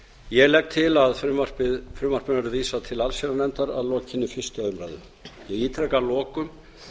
ég legg til að frumvarpinu verði vísað til allsherjarnefndar að lokinni fyrstu umræðu ég ítreka að lokum